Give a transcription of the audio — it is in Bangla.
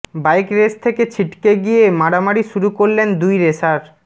বাইক রেস থেকে ছিটকে গিয়ে মারামারি শুরু করলেন দুই রেসার